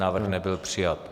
Návrh nebyl přijat.